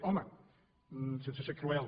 home sense ser cruel